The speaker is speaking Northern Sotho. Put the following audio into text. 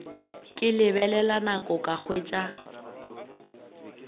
ke lebelela nako ka hwetša